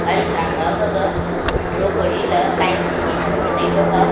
gari tha ma gaga draw kori la line chitle sa lon le tai chong ga.